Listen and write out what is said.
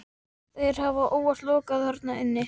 Þeir hafa óvart lokast þarna inni.